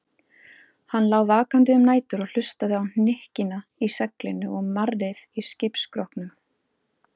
Hann lá vakandi um nætur og hlustaði á hnykkina í seglinu og marrið í skipsskrokknum.